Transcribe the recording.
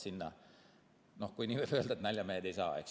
Sinna, kui nii võib öelda, naljamehed ei saa.